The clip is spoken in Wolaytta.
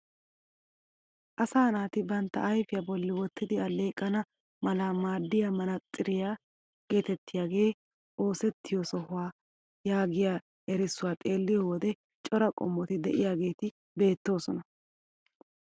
Asaaa naati bantta ayfiyaa bolli wottidi alleeqana mala maaddiyaa manaatsiriyaa getettiyaagee oosettiyoo sohuwaa yaagiyaa erissuwaa xeelliyoo wode cora qommoti de'iyaageti beettoosona.